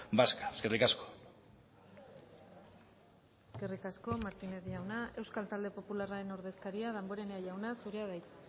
vasca eskerrik asko eskerrik asko martínez jauna euskal talde popularraren ordezkaria damborenea jauna zurea da hitza